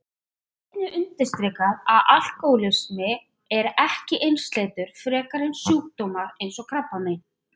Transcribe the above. Það skal einnig undirstrikað að alkóhólismi er ekki einsleitur frekar en sjúkdómar eins og krabbamein.